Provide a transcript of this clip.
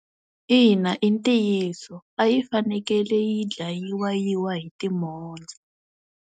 Ina i ntiyiso. A yi fanekele yi dlayiwa yi wa hi timhondzo.